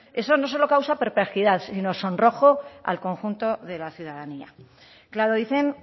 eso no solo causa perplejidad sino sonrojo al conjunto de la ciudadanía claro dicen